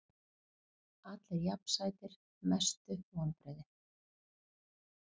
Allir jafn sætir Mestu vonbrigði?